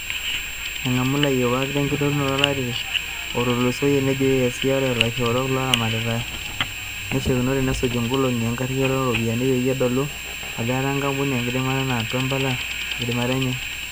Engamu ilayiwak tenkitingoto olari otulusoyia, nejo ECA ore laishorok loramatia neishakinore nesuj enkogongi enkariyiano o ropiyani peyie itodolu ajoo etaa enkampuni enkidimata nauta impala tenkidimata enye.